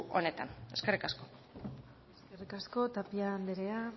honetan eskerrik asko eskerrik asko tapia anderea